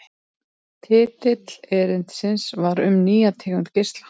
Titill erindisins var Um nýja tegund geisla.